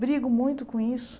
Brigo muito com isso.